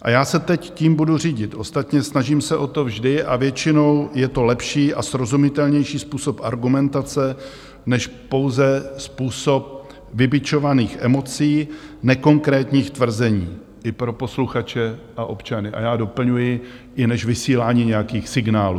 A já se teď tím budu řídit, ostatně snažím se o to vždy a většinou je to lepší a srozumitelnější způsob argumentace než pouze způsob vybičovaných emocí, nekonkrétních tvrzení, i pro posluchače a občany, a já doplňuji, i než vysílání nějakých signálů.